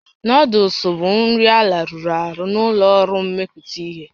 Noodụls bụ nri elarụrụ arụ na ụlọ ọrụ mmepụta ihe